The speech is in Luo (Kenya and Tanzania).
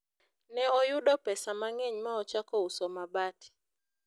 ne oyudo pesa mang'eny ma ochako uso mabat